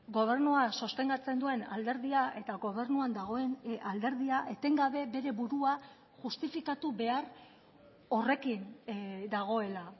gobernua sostengatzen duen alderdia eta gobernuan dagoen alderdia etengabe bere burua justifikatu behar horrekin dagoela